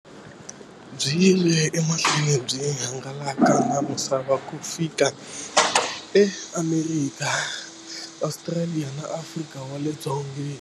Byi yile emahlweni byi hangalaka na misava ku fika eAmerika, Ostraliya na Afrika wale dzongeni.